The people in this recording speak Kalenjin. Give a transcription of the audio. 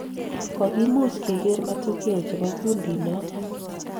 kokimuch keker matokeo chebo kundi noo amut